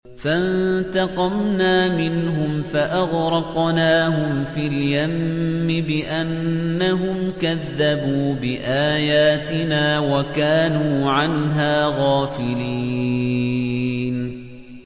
فَانتَقَمْنَا مِنْهُمْ فَأَغْرَقْنَاهُمْ فِي الْيَمِّ بِأَنَّهُمْ كَذَّبُوا بِآيَاتِنَا وَكَانُوا عَنْهَا غَافِلِينَ